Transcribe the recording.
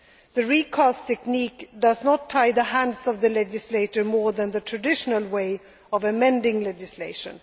legal text. The recast technique does not tie the hands of the legislator more than the traditional way of amending legislation.